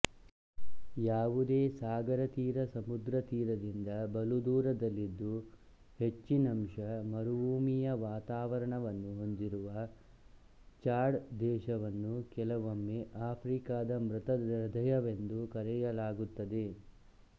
ಯಾವುದೇ ಸಾಗರತೀರಸಮುದ್ರತೀರದಿಂದ ಬಲುದೂರದಲ್ಲಿದ್ದು ಹೆಚ್ಚಿನಂಶ ಮರುಭೂಮಿಯ ವಾತಾವರಣವನ್ನು ಹೊಂದಿರುವ ಚಾಡ್ ದೇಶವನ್ನು ಕೆಲವೊಮ್ಮೆ ಆಫ್ರಿಕಾದ ಮೃತ ಹೃದಯವೆಂದು ಕರೆಯಲಾಗುತ್ತದೆ